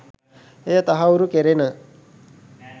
එය තහවුරු කෙරෙන